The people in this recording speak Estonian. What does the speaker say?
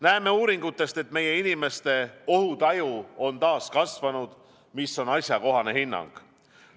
Näeme uuringutest, et meie inimeste ohutaju on taas kasvanud, mis on asjakohane hinnang.